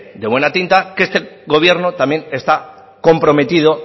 de buena de tinta que este gobierno también está comprometido